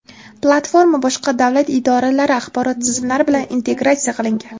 Platforma boshqa davlat idoralari axborot tizimlari bilan integratsiya qilingan.